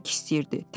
çörək istəyirdi.